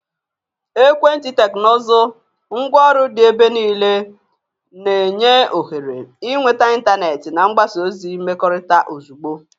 Ekwenti teknụzụ, ngwaọrụ dị n'ebe niile, na-enye ohere ịnweta ịntanetị na mgbasa ozi mmekọrịta ozugbo.